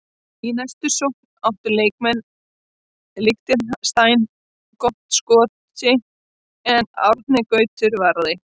Í næstu sókn áttu leikmenn Liechtenstein gott skoti en Árni Gautur varði.